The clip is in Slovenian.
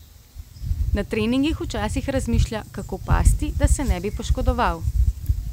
Na treningih včasih razmišlja, kako pasti, da se ne bi poškodoval.